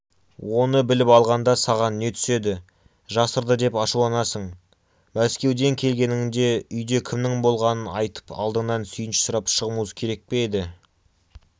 оны біліп алғанда саған не түседі жасырды деп ашуланасың мәскеуден келгеніңде үйде кімнің болғанын айтып алдыңнан сүйінші сұрап шығуымыз керек пе еді